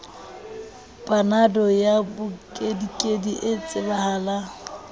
panado ya mokedikedi e tsebahala